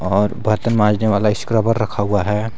और बर्तन मांजने वाला स्क्रबर रखा हुआ है।